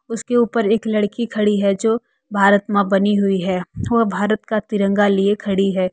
उसके ऊपर एक लड़की खड़ी है जो भारतमां बनी हुई है वह भारत का तिरंगा लिए खड़ी है।